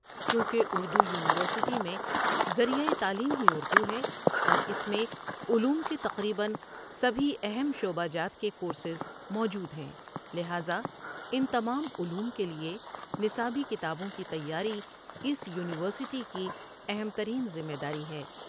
چونکہ اُردو یونیورسٹی میں ذریعہ تعلیم ہی اُردو ہے اوراس میں علوم کے تقریباََ سبھی اہم شعبہ جات کے کورسز موجود ہیں لٰہزا ان تمام علوم کے لیے نصابی کتابوں کی تیاری اسِ یونیورسٹی کی اہم ترین ذمہ داری ہے۔